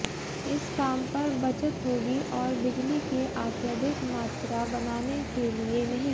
इस काम पर बचत होगी और बिजली की अत्यधिक मात्रा बनाने के लिए नहीं